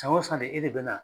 Tan o san e de bɛ na